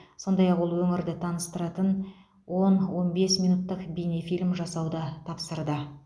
сондай ақ ол өңірді таныстыратын он он бес минуттық бейнефильм жасауды тапсырды